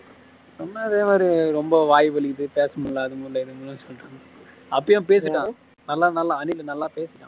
சும்மா இதே மாரி ரொம்ப வாய் வலிக்குது பேச முடியாது அது முடில இது முடிலனு சொல்லிட்டு இருந்த அப்பைய பேசிட்டான் நல்ல நல்ல அணிலு பேசிட்டான்